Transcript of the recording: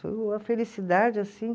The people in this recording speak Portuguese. Foi uma felicidade assim.